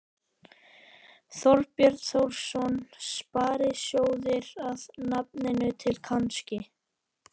Þorbjörn Þórðarson: Sparisjóðir að nafninu til, kannski?